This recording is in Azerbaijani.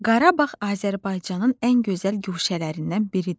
Qarabağ Azərbaycanın ən gözəl guşələrindən biridir.